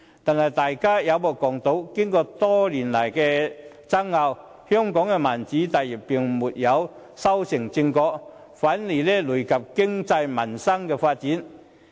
然而，大家有目共睹，經過多年的爭拗，香港的民主大業並未修成正果，反而累及經濟民生的發展。